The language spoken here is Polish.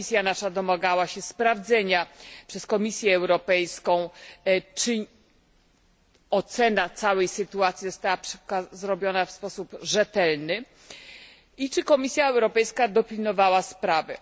Nasza komisja domagała się sprawdzenia przez Komisję Europejską, czy ocena całej sytuacji została zrobiona w sposób rzetelny i czy Komisja Europejska dopilnowała sprawy.